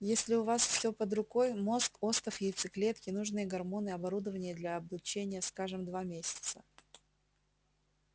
если у вас все под рукой мозг остов яйцеклетки нужные гормоны оборудование для облучения скажем два месяца